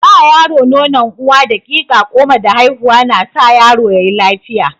Ba yaro nonon uwa daƙiƙa goma da haihuwa na sa yaro yayi lafiya.